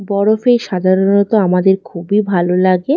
বরফে সাধারণত আমাদের খুবই ভালো লাগে।